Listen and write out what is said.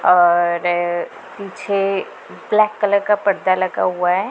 और पीछे black colour का पर्दा लगा हुआ है।